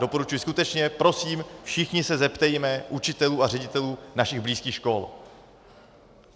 Doporučuji skutečně - prosím, všichni se zeptejme učitelů a ředitelů našich blízkých škol.